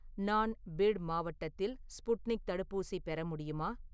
நான் பீட் மாவட்டத்தில் ஸ்புட்னிக் தடுப்பூசி பெற முடியுமா?